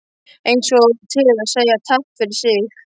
Eins og til að segja takk fyrir sig.